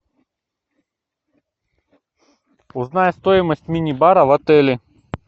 узнай стоимость мини бара в отеле